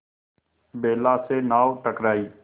बेला से नाव टकराई